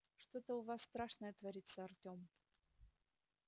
что-то у вас страшное творится артём